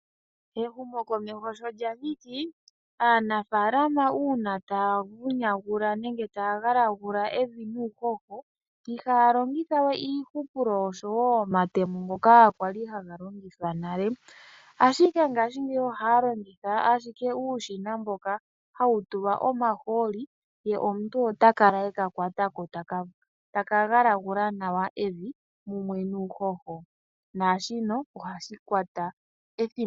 Ehumokomeho sho lya thiki, aanafaalama uuna taa galagula evi nuuhoho, ihaa longitha we iiyupulo oshowo omatemo ngoka kwali haga longithwa nale, ashike ngashingeyi ohaa longitha shike uushina mboka hawu tulwa omahooli, ye omuntu ota kala eka kwata ko taka galagula nawa evi mumwe nuuhoho. Naashika ohashi kwta ethimbo efupi.